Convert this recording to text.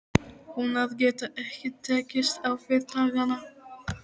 Hún að geta ekki tekist á við dagana.